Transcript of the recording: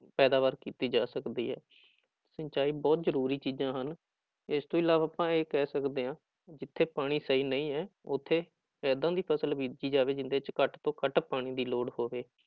ਪੈਦਾਵਾਰ ਕੀਤੀ ਜਾ ਸਕਦੀ ਹੈ ਸਿੰਚਾਈ ਬਹੁਤ ਜ਼ਰੂਰੀ ਚੀਜ਼ਾਂ ਹਨ, ਇਸ ਤੋਂ ਇਲਾਵਾ ਆਪਾਂ ਇਹ ਕਹਿ ਸਕਦੇ ਹਾਂ ਜਿੱਥੇ ਪਾਣੀ ਸਹੀ ਨਹੀਂ ਹੈ, ਉੱਥੇ ਏਦਾਂ ਦੀ ਫ਼ਸਲ ਬੀਜੀ ਜਾਵੇ, ਜਿਹਦੇ ਵਿੱਚ ਘੱਟ ਤੋਂ ਘੱਟ ਪਾਣੀ ਦੀ ਲੋੜ ਹੋਵੇ।